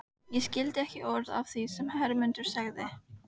Ég skildi ekki orð af því sem Hermundur sagði.